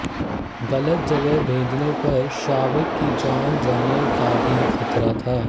गलत जगह भेजने पर शावक की जान जाने का भी खतरा था